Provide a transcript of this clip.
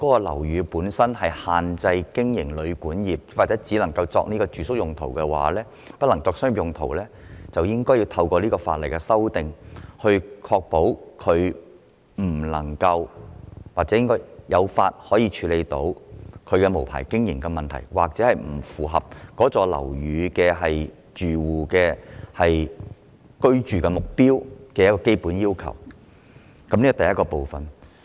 例如，針對限制經營旅館或只能作住宿而不能作商業用途的樓宇，這次修例便可以確保有法律依據，處理無牌經營問題，以及該大廈不符合只能作為住宿用途的基本要求的情況。